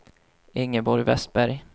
Ingeborg Westberg